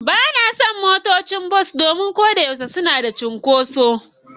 Ba na son motocin bas domin ko da yaushe suna da cunkoso.